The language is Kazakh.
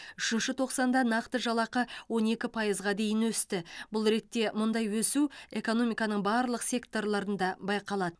үшінші тоқсанда нақты жалақы он екі пайызға дейін өсті бұл ретте мұндай өсу экономиканың барлық секторларында байқалады